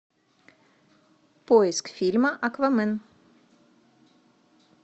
поиск фильма аквамен